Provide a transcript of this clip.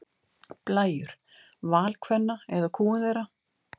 Blæjur: Val kvenna eða kúgun þeirra?